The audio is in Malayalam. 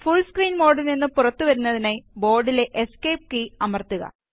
ഫുള് സ്ക്രീന് മോഡില് നിന്നും പുറത്തു വരുന്നതിനായി ബോര്ഡിലെ എസ്കേപ്പ് കീ അമര്ത്തുക